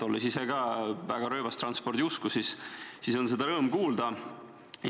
Olles ise ka väga rööbastranspordi usku, on seda rõõm kuulda.